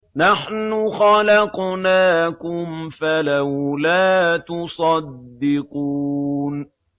نَحْنُ خَلَقْنَاكُمْ فَلَوْلَا تُصَدِّقُونَ